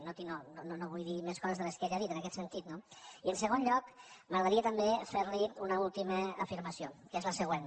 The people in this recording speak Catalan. no tinc no no vull dir més coses de les que ell ha dit en aquest sentit no i en segon lloc m’agradaria també fer li una última afirmació que és la següent